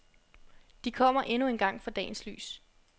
De kommer endnu engang for dagens lys.